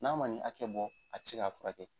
N'a ma nin hakɛ bɔ a ti se k'a furakɛ.